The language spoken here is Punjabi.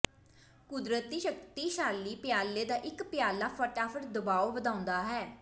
ਕੁਦਰਤੀ ਸ਼ਕਤੀਸ਼ਾਲੀ ਪਿਆਲੇ ਦਾ ਇੱਕ ਪਿਆਲਾ ਫਟਾਫਟ ਦਬਾਅ ਵਧਾਉਂਦਾ ਹੈ